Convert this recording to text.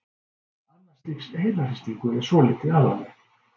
Annars stigs heilahristingur er svolítið alvarlegri.